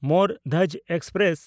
ᱢᱳᱨ Dhwaj express